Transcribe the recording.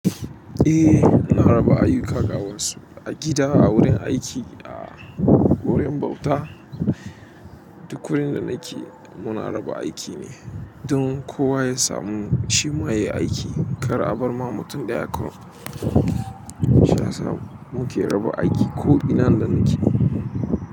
Eh, muna raba aiyuka ga wasu a gida, a wurin aiki, a wurin bauta duk wurin da nake muna raba aiki ne don kowa ya samu shi ma ya yi aiki. Kar a bar ma mutum ɗaya kawai. Shiysa muke raba aiki ko ina da muke.